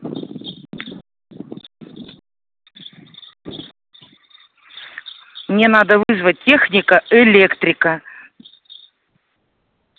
мне надо вызвать техника электрика